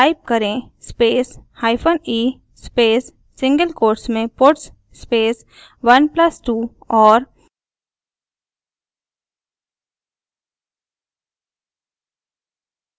type करें space hypen e space single quotes में puts space 1+2 और